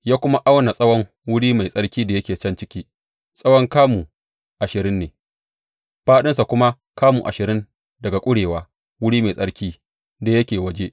Ya kuma auna tsawon wuri mai tsarki da yake can ciki; tsawon kamu ashirin ne, fāɗinsa kuma kamu ashirin daga ƙurewa wuri mai tsarki da yake waje.